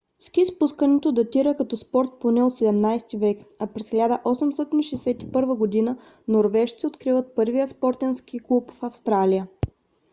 ски спускането датира като спорт поне от 17 век а през 1861 г. норвежци откриват първия спортен ски клуб в австралия